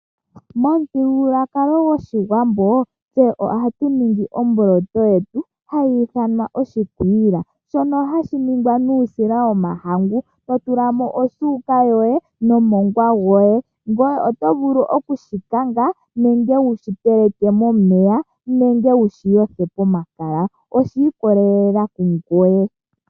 Momuthigululwakalo goshiwambo, tse ohatu ningi omboloto yetu, ohatu yi ithana oshikwiila shono hashi ningwa nuusila womahangu, to tula mo osuuka yoye nomongwa goye, ngoye oto vulu oku shi kanga nenge wushi teleke momeya nenge wushi yothe pomakala oshi ikolelela hungover.